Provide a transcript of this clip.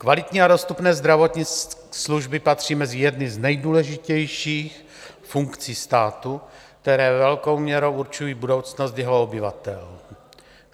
Kvalitní a dostupné zdravotní služby patří mezi jedny z nejdůležitějších funkcí státu, které velkou měrou určují budoucnost jeho obyvatel.